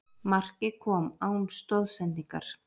Markið kom án stoðsendingar